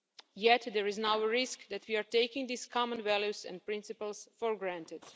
Yet there is now a risk that we are taking these common values and principles for granted.